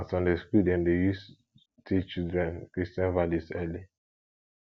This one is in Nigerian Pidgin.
na sunday school dem dey use teach children christian values early